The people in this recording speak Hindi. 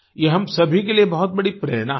ये हम सभी के लिए बहुत बड़ी प्रेरणा है